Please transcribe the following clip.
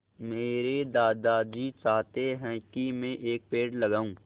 मेरे दादाजी चाहते हैँ की मै एक पेड़ लगाऊ